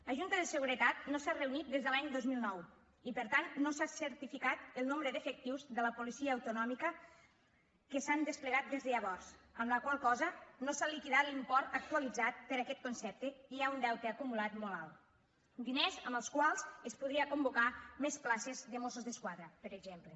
la junta de seguretat no s’ha reunit des de l’any dos mil nou i per tant no s’ha certificat el nombre d’efectius de la policia autonòmica que s’han desplegat des de llavors amb la qual cosa no s’ha liquidat l’import actualitzat per aquest concepte i hi ha un deute acumulat molt alt diners amb els quals es podrien convocar més places de mossos d’esquadra per exemple